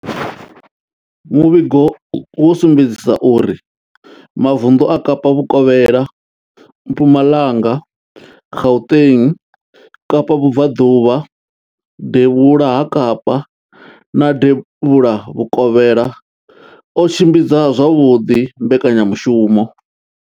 Muvhigo wo sumbedzisa uri mavundu a Kapa vhukovhela, Mpumalanga, Gauteng, Kapa vhubvaḓuvha, devhula ha Kapa na devhula vhukovhela o tshimbidza zwavhuḓi mbekanyamushumo.